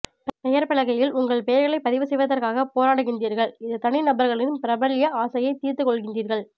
பெயர்பலகையில் உங்கள் பெயர்களை பதிவு செய்வதற்காக போராடுகின்றீர்கள் இது தனிநபர்களின் பிரபல்ய ஆசையை தீர்த்துக் கொள்கின்றீர்கள்